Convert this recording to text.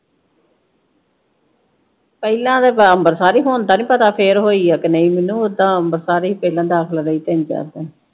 ਪਹਿਲਾ ਤੇ ਅੰਬਰਸਰ ਹੁਣ ਦਾ ਨੀ ਪਤਾ ਫਿਰ ਹੋਈ ਆ ਕਿ ਨਹੀਂ ਮੈਨੂੰ ਓਦਾਂ ਅੰਬਰਸਰ ਹੀ ਪਹਿਲਾ ਦਾਖਲ ਰਹੀ ਤਿੰਨ-ਚਾਰ ਦਿਨ।